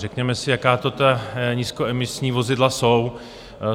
Řekněme si, jaká to ta nízkoemisní vozidla jsou.